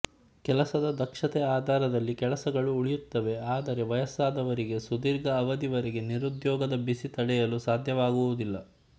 ಕೆಲಸದ ದಕ್ಷತೆ ಆಧಾರದಲ್ಲಿ ಕೆಲಸಗಳು ಉಳಿಯುತ್ತವೆ ಆದರೆ ವಯಸ್ಸಾದವರಿಗೆ ಸುದೀರ್ಘ ಅವಧಿ ವರೆಗೆ ನಿರುದ್ಯೋಗದ ಬಿಸಿ ತಡೆಯಲು ಸಾಧ್ಯವಾಗುವುದಿಲ್ಲ